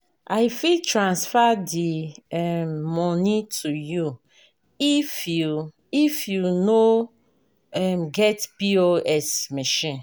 I fit transfer di um moni to you if you if you no um get POS machine.